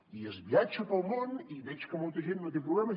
i es viatja pel món i veig que molta gent no té problemes